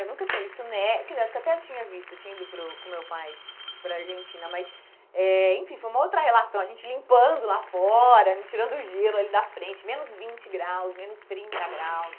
Eu nunca tinha visto ne, quer dizer, acho que até eu tinha visto, eu tinha ido para o com meu pai para a Argentina, mas, eh enfim, foi uma outra relação, a gente limpando lá fora, tirando o gelo ali da frente, menos vinte graus, menos trinta graus.